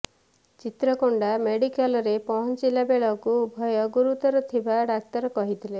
ଚିତ୍ରକୋଣ୍ଡା ମେଡିକାଲରେ ପହଞ୍ଚିଲା ବେଳେକୁ ଉଭୟ ଗୁରୁତର ଥିବା ଡାକ୍ତର କହିଥିଲେ